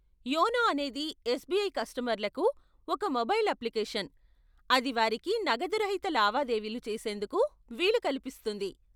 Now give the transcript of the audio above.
YONO అనేది SBI కస్టమర్లకు ఒక మొబైల్ అప్లికేషన్, అది వారికి నగదురహిత లావాదేవీలు చేసేందుకు వీలు కల్పిస్తుంది.